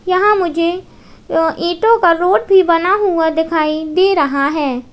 यहां मुझे अ ईटों का रोड भी बना हुआ दिखाई दे रहा है।